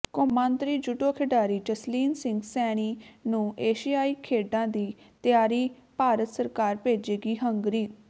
ਕੌਮਾਂਤਰੀ ਜੂਡੋ ਖਿਡਾਰੀ ਜਸਲੀਨ ਸਿੰਘ ਸੈਣੀ ਨੂੰ ਏਸ਼ੀਆਈ ਖੇਡਾਂ ਦੀ ਤਿਆਰੀ ਭਾਰਤ ਸਰਕਾਰ ਭੇਜੇਗੀ ਹੰਗਰੀ